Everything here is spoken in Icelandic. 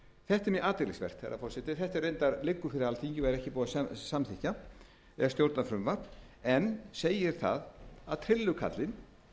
þetta er mjög athyglisvert herra forseti þetta reyndar liggur fyrir alþingi og er ekki búið að samþykkja er stjórnarfrumvarp en segir það að trillukarlinn